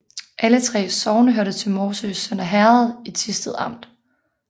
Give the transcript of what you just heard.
Alle 3 sogne hørte til Morsø Sønder Herred i Thisted Amt